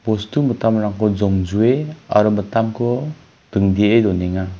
bostu mitamrangko jongjue aro mitamko dingdee donenga.